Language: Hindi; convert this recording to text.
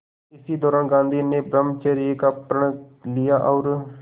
इसी दौरान गांधी ने ब्रह्मचर्य का प्रण लिया और